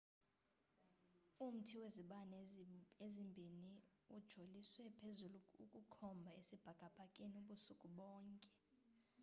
umthai wezibane ezimbiniuijoliswe phezulu ukukhomba esibhakabhakeni ubusuku bonke